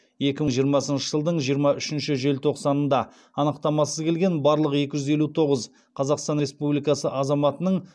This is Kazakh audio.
екі мың жиырмасыншы жылдың жиырма үшінші желтоқсанында анықтамасыз келген барлық екі жүз елу тоғыз қазақстан республикасы азаматының